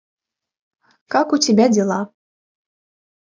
как у тебя дела